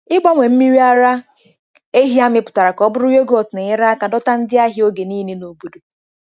Ịgbanwe mmiri ara ehi amịpụtara ka ọ bụrụ yoghurt na-enyere aka dọta ndị ahịa oge niile n'obodo.